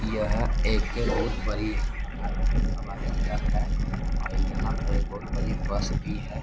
यहाँ एक बहुत बरी हवाई हवाई अड्डा है और यहाँ पे बहुत बड़ी बस भी है।